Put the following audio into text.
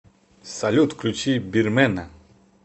салют включи бирмэна